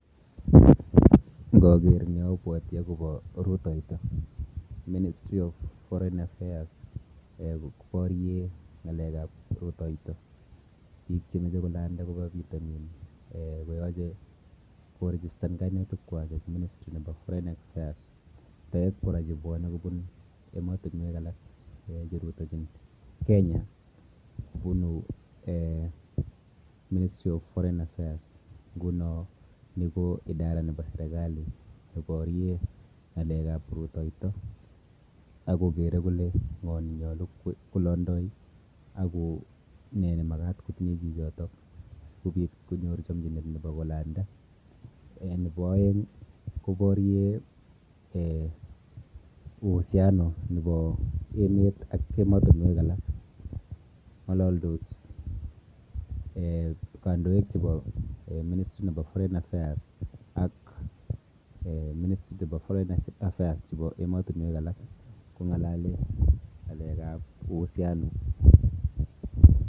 Ng'ager en yo, abwati akobo rutoito. Ministry of foreign affairs, koboryen ng'alekab rutoito. Biik che meche kolanda koba bitonin, koyache korechistan kainutik kwak en ministry nebo foreign affairs. Taek kora che bwane kobun emotunwek alak, che rutoichin Kenya, bunu ministry of foreign affairs. Ng'uno ni ko idara nebo serikali ne borye ng'alekab rutoito, akogere kole ng'o ne nyolu kolondoi, ako nee nemagat kotinye chichotok, kobit konyor chamchinet nebo kolanda. Nebo aeng', koborye[um] uhusiano nebo emet ak emotunwek alak. Ng'alaldos kandoik chebo ministry nebo foreign affairs ak ministry nebo foreign affairs chebo emotunwek alak. Kong'alale ng'alekab uhusuaino.